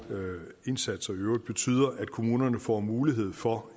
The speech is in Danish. indsatser i øvrigt betyder at kommunerne får mulighed for